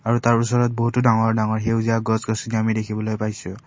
আৰু তাৰ ওচৰত বহুতো ডাঙৰ ডাঙৰ সেউজীয়া গছ গছনি আমি দেখিবলৈ পাইছোঁ।